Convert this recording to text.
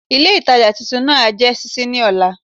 Ilé ìtajà titun náà á jé sísí ní òla